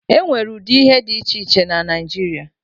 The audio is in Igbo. E nwere ụdị ihe dị iche iche na Naijiria.